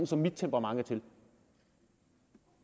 som mit temperament er til